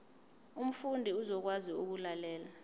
umfundi uzokwazi ukulalela